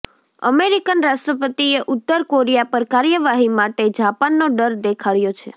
American રાષ્ટ્રપતિએ ઉત્તર Korea પર કાર્યવાહી માટે જાપાનનો ડર દેખાડ્યો છે